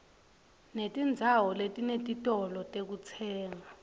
netindzawo letinetitolo tekutsenga